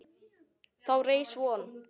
Þá reis von